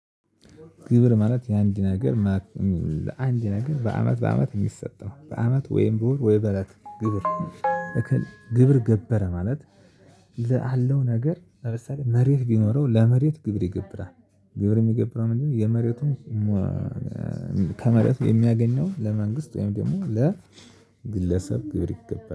ግብር ማለት የአንድ ነገር ማለት ለአንድ ነገር በአመት በአመት የሚሰጠው በአመት ወይም በወር ወይ በለት ግብር እክል ግብር ገበረ ማለት ለአለው ነገር ለምሳሌ መሬት ቢኖረው ለመሬት ግብር ይገብራል። ግብር የሚገብረው ምንድነው የመሬቱን ከመሬቱ የሚያገኘውን ለመንግስት ወይም ደግሞ ለግለሰብ ግብር ይገባል